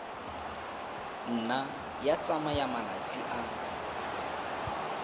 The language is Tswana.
nna ya tsaya malatsi a